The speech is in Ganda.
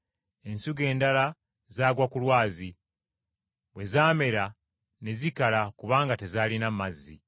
Ensigo endala zaagwa ku lwazi, bwe zaamera ne zikala kubanga tezaalina mazzi.